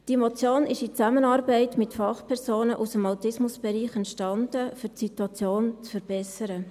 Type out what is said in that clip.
Diese Motion ist in Zusammenarbeit mit Fachpersonen aus dem Autismusbereich entstanden, um die Situation zu verbessern.